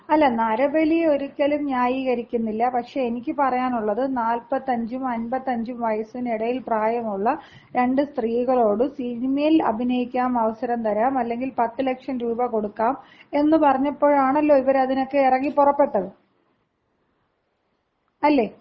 അല്ല നരബലി ഒരിക്കലും ന്യായീകരിക്കുന്നില്ല. പക്ഷേ എനിക്ക് പറയാനുള്ളത് നാൽപത്തഞ്ചും അൻപത്തഞ്ചും വയസ്സിനിടയിൽ പ്രായമുള്ള രണ്ട് സ്ത്രീകളോട് സിനിമയിൽ അഭിനയിക്കാൻ അവസരം തരാം അല്ലെങ്കിൽ 10 ലക്ഷം രൂപ കൊടുക്കാം എന്ന് പറഞ്ഞപ്പോഴാണല്ലോ ഇവര് അതിനൊക്കെ ഇറങ്ങി പുറപ്പെട്ടത്. അല്ലേ?